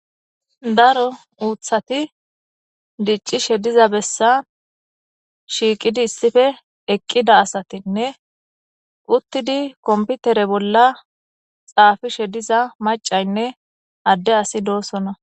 daro uuthati diccishe diza bessa shiiqidi issipe eqqida asatinne uttidi komputere bolla xaafishe diza macaynne adde asi doosona.